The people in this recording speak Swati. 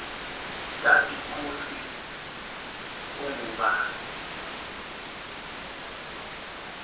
tati kutsi ungubani